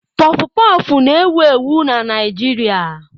Pọfụ pọfụ na-ewu ewu na Naijiria.